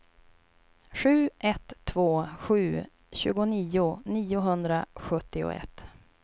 sju ett två sju tjugonio niohundrasjuttioett